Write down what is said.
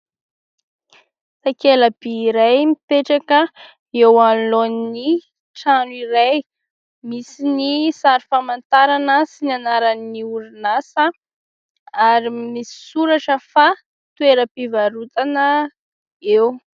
Takela-by iray mipetraka eo anoloan'ny trano iray misy ny sary famantarana sy ny anaran'ny orinasa ary misy soratra fa toeram-pivarotana eo.